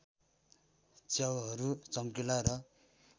च्याउहरू चम्किला र